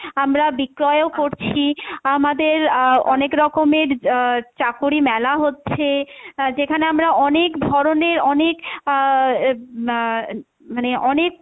আমরা বিক্রয়ও করছি আমাদের আহ অনেকরকমের আহ চাকরি মেলা হচ্ছে আহ যেখানে আমরা অনেক ধরণের অনেক আহ উম আহ মানে অনেক,